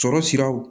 Sɔrɔ siraw